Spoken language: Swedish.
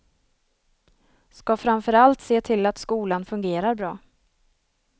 Ska framför allt se till att skolan fungerar bra.